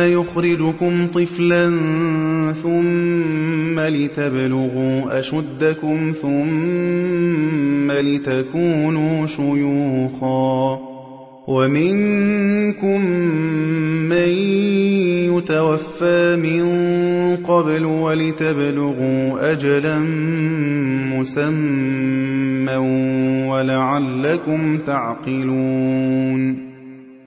يُخْرِجُكُمْ طِفْلًا ثُمَّ لِتَبْلُغُوا أَشُدَّكُمْ ثُمَّ لِتَكُونُوا شُيُوخًا ۚ وَمِنكُم مَّن يُتَوَفَّىٰ مِن قَبْلُ ۖ وَلِتَبْلُغُوا أَجَلًا مُّسَمًّى وَلَعَلَّكُمْ تَعْقِلُونَ